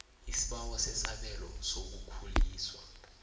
isibawo sesabelo sokukhuliswa